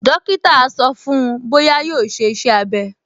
Dókítà á sọ fún-un bóyá yóò ṣe iṣẹ́-abẹ́